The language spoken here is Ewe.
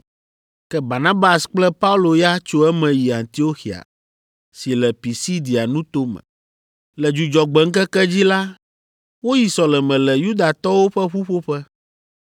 Ke Barnabas kple Paulo ya tso eme yi Antioxia si le Pisidia nuto me. Le Dzudzɔgbe ŋkeke dzi la, woyi sɔleme le Yudatɔwo ƒe ƒuƒoƒe.